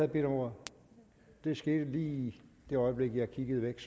bedt om ordet det skete lige i det øjeblik jeg kiggede væk